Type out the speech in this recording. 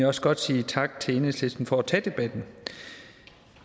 også godt sige tak til enhedslisten for at tage debatten